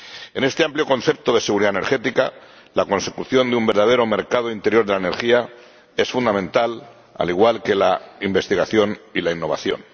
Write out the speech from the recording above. En este amplio concepto de seguridad energética, la consecución de un verdadero mercado interior de la energía es fundamental, al igual que la investigación y la innovación.